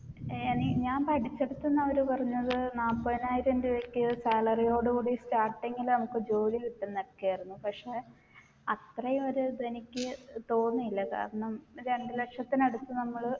എന് ഞാൻ പഠിച്ചെടുത്തിന്ന് അവർ പറഞ്ഞത് നാപ്പയ്നായിരം രൂപയ്ക്ക് salary ഓട് കൂടി starting ൽ നമ്മുക്ക് ജോലി കിട്ടുന്നൊക്കെയായിരുന്നു പക്ഷേ അത്രയും ഒരിത് എനിക്ക് തോന്നിയില്ല കാരണം രണ്ടുലക്ഷത്തിനടുത്ത് നമ്മള്